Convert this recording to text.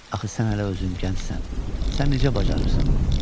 Axı sən hələ özün gəncsən, sən necə bacarırsan bunu?